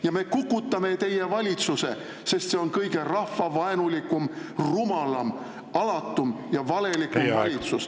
Ja me kukutame teie valitsuse, sest see on kõige rahvavaenulikum, rumalam, alatum ja valelikum valitsus.